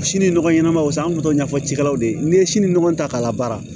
Sini nɔgɔ ɲɛnama sa an bɛ to ɲɛfɔ cikɛlaw de ye n'i ye si ni nɔgɔ ta k'a labaara